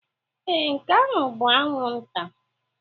Ee, nke ahụ bụ anwụnta.